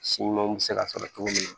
Si ɲumanw bɛ se ka sɔrɔ cogo min na